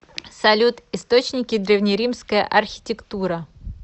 салют источники древнеримская архитектура